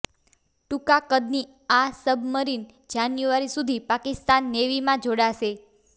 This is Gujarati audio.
ટૂંકા કદની આ સબમરીન જાન્યુઆરી સુધી પાકિસ્તાન નેવીમાં જોડાશે